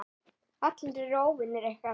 Allir eru óvinir ykkar.